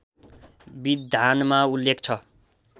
विधानमा उल्लेख छ